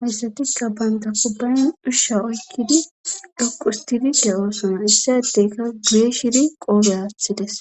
hayssatikka baynta kubbayn dhushsha oykkidi dhoqustidide oosona issa etteyka geeshiri qoogeattides